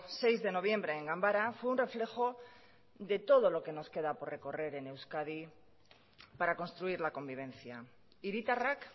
seis de noviembre en ganbara fue un reflejo de todo lo que nos queda por recorrer en euskadi para construir la convivencia hiritarrak